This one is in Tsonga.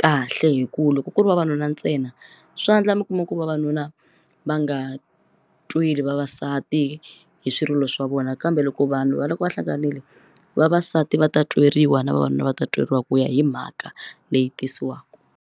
kahle hi ku loko ku ri vavanuna ntsena swa endla mi kuma ku vavanuna va nga tweli vavasati hi swirilo swa vona kambe loko vanhu va loko va hlanganile vavasati va ta tweriwa na vavanuna va ta tweriwa ku ya hi mhaka leyi tisiwaka.